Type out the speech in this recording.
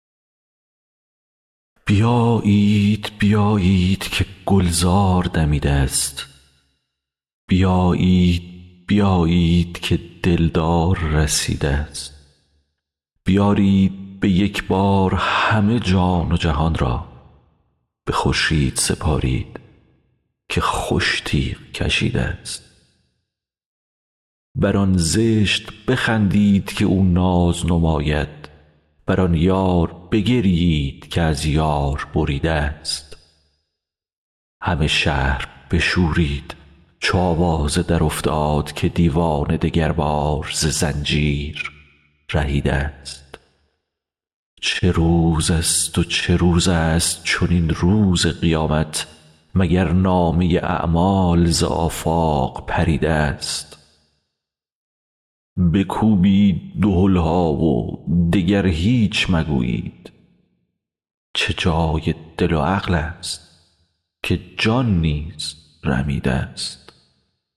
بیایید بیایید که گلزار دمیده ست بیایید بیایید که دلدار رسیده ست بیارید به یک بار همه جان و جهان را به خورشید سپارید که خوش تیغ کشیده ست بر آن زشت بخندید که او ناز نماید بر آن یار بگریید که از یار بریده ست همه شهر بشورید چو آوازه درافتاد که دیوانه دگربار ز زنجیر رهیده ست چه روزست و چه روزست چنین روز قیامت مگر نامه اعمال ز آفاق پریده ست بکوبید دهل ها و دگر هیچ مگویید چه جای دل و عقلست که جان نیز رمیده ست